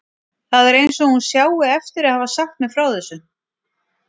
Það er eins og hún sjái eftir að hafa sagt mér frá þessu.